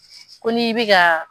Ko n'i bɛ ka.